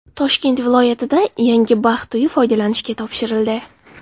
Toshkent viloyatida yangi baxt uyi foydalanishga topshirildi.